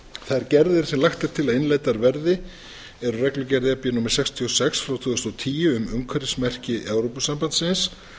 þær gerðir sem lagt er til að innleiddar verði eru reglugerð e b númer sextíu og sex tvö þúsund og tíu um umhverfismerki evrópusambandsins